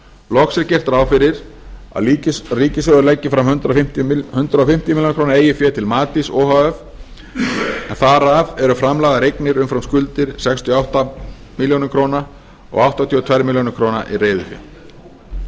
loks er gert ráð fyrir að ríkissjóður leggi fram hundrað fimmtíu ár eigið fé til matís o h f en þar af eru framlagðar eignir umfram skuldir sextíu og átta ár og áttatíu og tvö ár í reiðufé